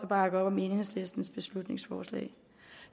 bakke op om enhedslistens beslutningsforslag